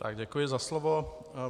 Já děkuji za slovo.